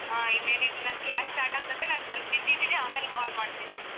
ಹಾ ಇನ್ನೇನಿದ್ರು ನನ್ class start ಆಗ್ತದೆ ನಾನ್ ಸ್ವಲ್ಪ್ busy ಇದ್ದೀನಿ ಆಮೇಲ್ call ಮಾಡ್ತೀನಿ.